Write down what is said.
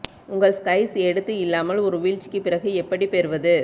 உங்கள் ஸ்கைஸ் எடுத்து இல்லாமல் ஒரு வீழ்ச்சிக்கு பிறகு எப்படி பெறுவது